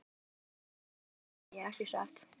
Gissur: Nú ert þú á góðum batavegi ekki satt?